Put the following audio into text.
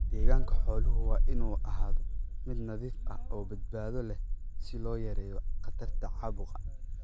Deegaanka xooluhu waa inuu ahaado mid nadiif ah oo badbaado leh si loo yareeyo khatarta caabuqa.